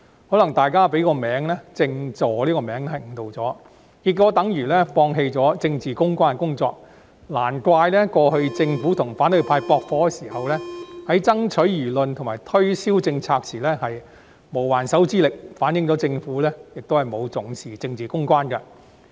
可能大家被"政治助理"的名稱誤導，結果等於放棄政治公關的工作，難怪過去政府與反對派駁火時，在爭取輿論及推銷政策時無還手之力，反映出政府亦不重視政治公關。